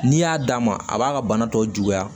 N'i y'a d'a ma a b'a ka bana tɔw juguya